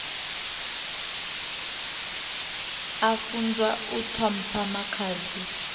a funzwa u ṱhompha makhadzi